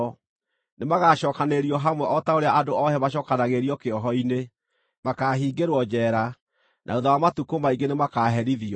Nĩmagacookanĩrĩrio hamwe o ta ũrĩa andũ oohe macookanagĩrĩrio kĩoho-inĩ; makaahingĩrwo njeera na thuutha wa matukũ maingĩ nĩmakaherithio.